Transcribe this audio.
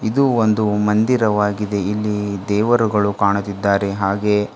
ಇದು ಒಂದು ಮಂದಿರವಾಗಿದೆ ಇಲ್ಲಿ ದೇವರುಗಳ ಕಾಣುತ್ತಿದ್ದಾರೆ ಹಾಗೆ--